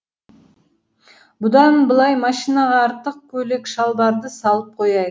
бұдан былай машинаға артық көйлек шалбарды салып қояйық